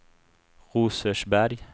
Rosersberg